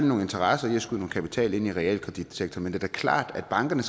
nogle interesser i at skyde kapital ind i realkreditsektoren det da klart at bankerne